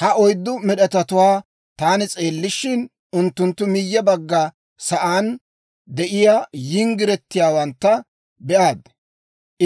Ha oyddu med'etatuwaa taani s'eellishin, unttunttu miyye bagga sa'aan de'iyaa yinggiretiyaawantta be'aad;